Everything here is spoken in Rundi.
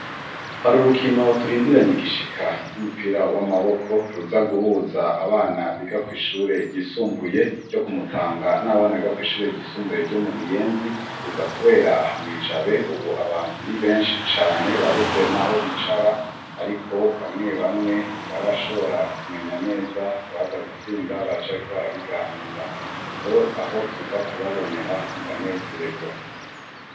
Hari urukino turindiranye igishika r'umupira w'amaboko ruza guhuza abana bigakw'ishure ryisumbuye ryo kumutanga n'abana bigakw'ishure ryisumbuye ryo mu buyenzi ruza, kubera ahamwijabe, ubu abantu ni benshi cane babuze, naho bicara, ariko bamwe bamwe ntibarashobora kumenya neza abaza gutsinda baraca riuko barabiganira rero aho tuza kubabonera turanezerwa.